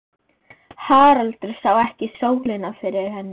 Haraldur sá ekki sólina fyrir henni.